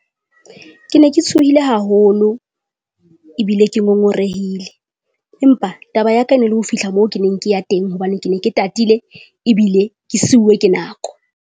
Ke ne ke tshohile haholo ebile ke ngongorehile, empa taba ya ka na le ho fihla moo ke neng ke ya teng hobane ke ne ke tatile ebile ke siuwe ke nako.